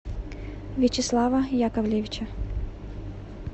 вячеслава яковлевича